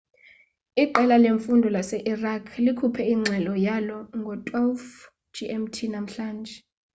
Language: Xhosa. iqela lemfundo lase-iraq likhuphe ingxelo yalo ngo-12.00 gmt namhlanje